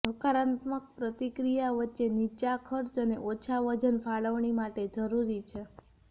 હકારાત્મક પ્રતિક્રિયા વચ્ચે નીચા ખર્ચ અને ઓછા વજન ફાળવણી માટે જરૂરી છે